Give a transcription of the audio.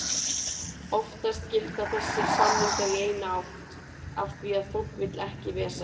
Oftast gilda þessir samningar í eina átt af því að fólk vill ekki vesen.